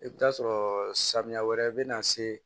I bɛ taa sɔrɔ samiya wɛrɛ bɛ na se